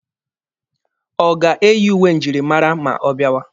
Ọ ga-eyi uwe njirimara ma ọ bịawa?